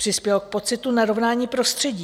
Přispělo k pocitu narovnání prostředí.